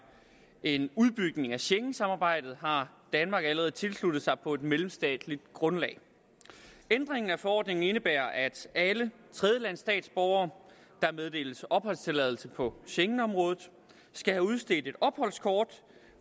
en udbygning af schengensamarbejdet har danmark allerede tilsluttet sig på mellemstatsligt grundlag ændringen af forordningen indebærer at alle tredjelandsstatsborgere der meddeles opholdstilladelse for schengenområdet skal have udstedt et opholdskort